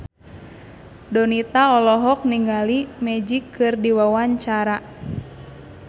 Donita olohok ningali Magic keur diwawancara